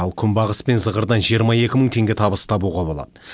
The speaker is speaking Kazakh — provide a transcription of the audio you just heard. ал күнбағыс пен зығырдан жиырма екі мың теңге табыс табуға болады